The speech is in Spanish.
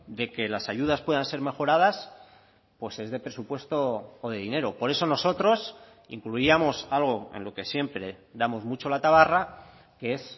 de que las ayudas puedan ser mejoradas pues es de presupuesto o de dinero por eso nosotros incluíamos algo en lo que siempre damos mucho la tabarra que es